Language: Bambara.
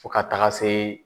Fo ka taga se